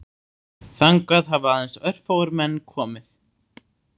Þangað hafa aðeins örfáir menn komið